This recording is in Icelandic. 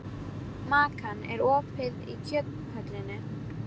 Makan, er opið í Kjöthöllinni?